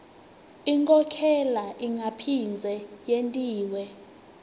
inkhokhela ingaphindze yentiwa